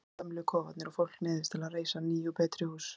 Þá hrynja gömlu kofarnir og fólk neyðist til að reisa ný og betri hús.